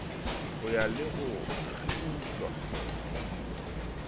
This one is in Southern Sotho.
ho ya le ho kgiutla